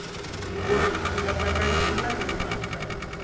nkomiso nkatsakanyo wu na timhaka